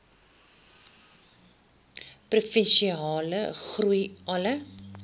provinsiale groei alle